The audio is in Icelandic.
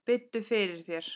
Biddu fyrir þér!